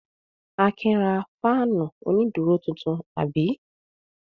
Akin ra fáánù onídùúró tuntun, àbí?